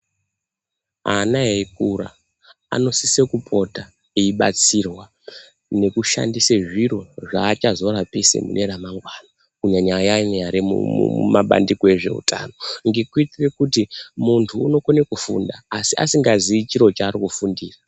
Ana eikura anosise kupota eibatsirwa nekushandise zviro zvaachazorapise mune ramangwani kunyanyanya ayani ari mumabandiko ezve utano ngekuitire kuti muntu unokone kufunda asi asingazii chaari kufundira.